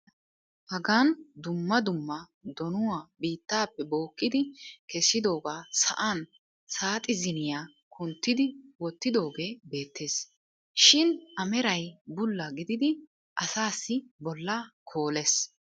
hagan dumma dumma donnuwa bittaappe bookkidi kessidoogaa sa'an saaxziniya kunttidi wottidoogee beettees. shin a meray bulla gididi asaassi bolaa koolees.